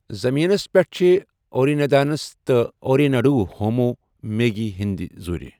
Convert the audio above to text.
زمینس پیٹھ چھ اوریندانس تہ اورےنڈو ہومو مےگی ہندۍ زُرۍ۔۔